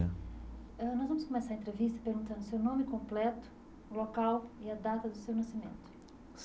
Ãh nós vamos começar a entrevista perguntando o seu nome completo, o local e a data do seu nascimento.